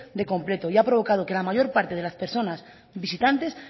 de completo y ha provocado que la mayor parte de las personas visitantes